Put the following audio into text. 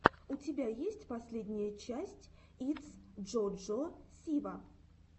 у тебя есть последняя часть итс джо джо сива